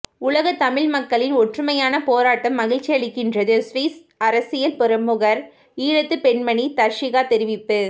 உலகத்தமிழ் மக்களின் ஒற்றுமையான போராட்டம் மகிழ்ச்சி அளிக்கின்றது சுவிஸ் அரசியல் பிரமுகர் ஈழத்துப்பெண்மணி தர்சிகா தெரிவிப்பு